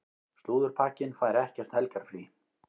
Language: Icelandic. Slúðurpakkinn fær ekkert helgarfrí.